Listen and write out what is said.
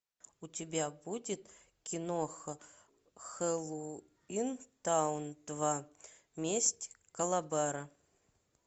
у тебя будет киноха хэллоуинтаун два месть калабара